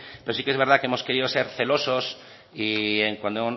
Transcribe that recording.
pero sí que es verdad que hemos querido ser celosos y cuando